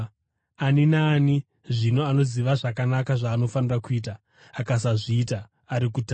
Ani naani, zvino, anoziva zvakanaka zvaanofanira kuita akasazviita, ari kutadza.